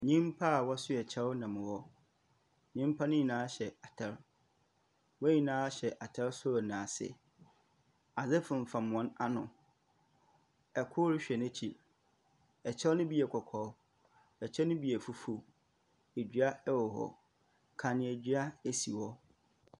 Nyimpa a wɔsoea kyɛw nam hɔ. Nyimpa no nyina hyɛ atar. Hɔn nyinaa hyɛ atar sor na ase. Adze fonfam hɔn ano. Kor rehwɛ n'ekyir. Kyɛw no bi yɛ kɔkɔɔ, ɛkyɛ no bi yɛ fufuw. Dua wɔ hɔ. Kandzeadua si hɔ.